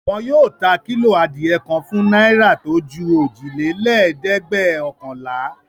Wọn yóò ta kílò adìẹ kan fún náírà tó ju òjìlélẹ́ẹ̀dẹ́gbẹ́ọ̀kànlá.